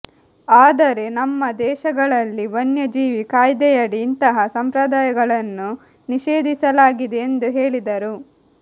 ಆದರೆ ನಮ್ಮ ದೇಶಗಳಲ್ಲಿ ವನ್ಯಜೀವಿ ಕಾಯ್ದೆಯಡಿ ಇಂತಹ ಸಂಪ್ರದಾಯಗಳನ್ನು ನಿಷೇಧಿಸಲಾಗಿದೆ ಎಂದು ಹೇಳಿದರು